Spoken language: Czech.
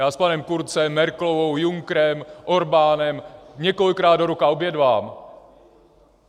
Já s panem Kurzem, Merkelovou, Junckerem, Orbánem několikrát do roka obědvám.